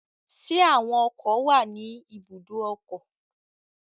Ṣé àwọn ọkọ̀ wà ní ibùdó ọkọ̀?